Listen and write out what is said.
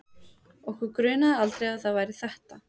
Okkur grunaði aldrei að það væri ÞETTA!